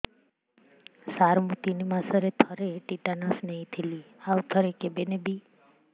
ସାର ମୁଁ ତିନି ମାସରେ ଥରେ ଟିଟାନସ ନେଇଥିଲି ଆଉ ଥରେ କେବେ ନେବି